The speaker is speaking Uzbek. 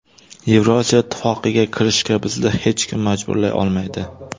Yevrosiyo ittifoqiga kirishga bizni hech kim majburlay olmaydi.